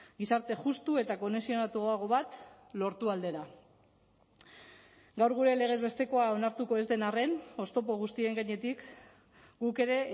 gizarte justu eta kohesionatuago bat lortu aldera gaur gure legez bestekoa onartuko ez den arren oztopo guztien gainetik guk ere